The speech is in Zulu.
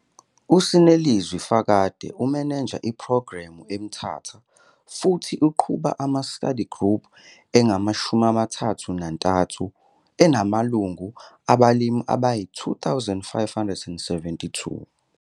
USinelizwi Fakade umeneja iphrogremu eMthatha futhi uqhuba ama-study group angama-33 enamalungu abalimi ayi-2 572.